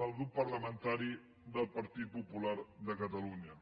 pel grup parlamentari del partit popular de catalunya